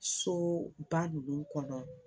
Soba ninnu kɔnɔ